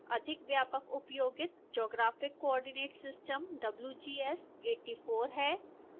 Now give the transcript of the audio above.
अधिक व्यापक उपयोगित geographic coordinate system wgs 84 है